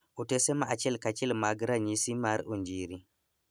Otese ma achiel kachiel mag ranyisi mar onjiri